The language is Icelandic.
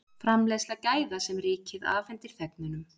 framleiðsla gæða sem ríkið afhendir þegnunum